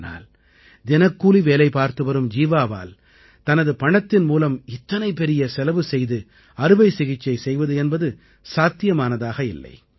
ஆனால் தினக்கூலி வேலை பார்த்துவரும் ஜீவாவால் தனது பணத்தின் மூலம் இத்தனை பெரிய செலவு செயது அறுவைசிகிச்சை செய்வது என்பது சாத்தியமானதாக இல்லை